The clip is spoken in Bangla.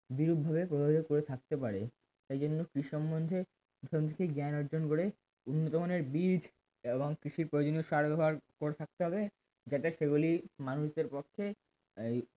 বিরূপভাবে প্রভাবিত করে থাকতে পারে এই জন্য কৃষি সম্বন্ধে জ্ঞান অর্জন করে উন্নতমানের বীজ এবং কৃষির প্রয়োজনীয় সার ব্যবহার করে থাকতে হবে যাতে সেগুলি মানুষের পক্ষে আহ